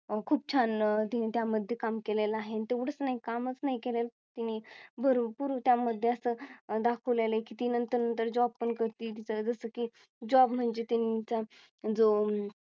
अह खूप छान तिने त्यामध्ये काम केलेल आहेत एवढेच नाही कामच नाही केलेलं तिनी त्यामध्ये भरपूर त्या मध्ये अस दाखवलेले आहे कि ती नंतर नंतर Job पण करते जसं की Job म्हणजे त्यांचा जो अह